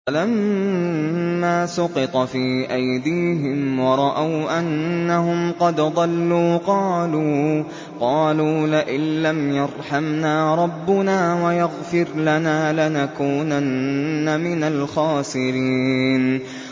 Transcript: وَلَمَّا سُقِطَ فِي أَيْدِيهِمْ وَرَأَوْا أَنَّهُمْ قَدْ ضَلُّوا قَالُوا لَئِن لَّمْ يَرْحَمْنَا رَبُّنَا وَيَغْفِرْ لَنَا لَنَكُونَنَّ مِنَ الْخَاسِرِينَ